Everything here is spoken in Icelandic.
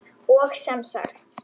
Og sem sagt!